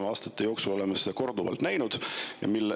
Me oleme aastate jooksul seda korduvalt näinud.